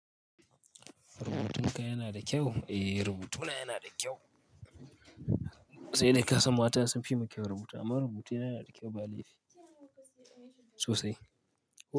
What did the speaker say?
Rubutunka yana da kyau? Eh, rubutuna yana da kyau. Sai dai ƙasan mata sun fi mu kyaun rubutu amma rubutuna yana da kyau ba laifi sosai.